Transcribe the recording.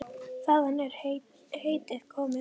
Þaðan er heitið komið.